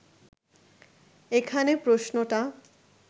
এখানে প্রশ্নটা